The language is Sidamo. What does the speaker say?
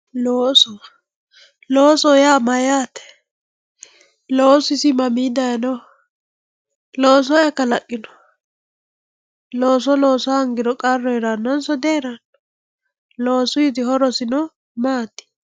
Loosu loosoho yaa mayaate loosu isi mmia dayinoho looso ayi kalaqino looso losa hongiro qaru heranonsa dino loosuyitino horosi maati?